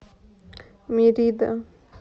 мерида